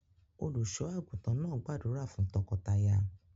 Olùṣọ́-àgùntàn náà gbàdúrà fún tọkọtaya.